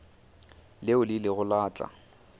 leo le ilego la tla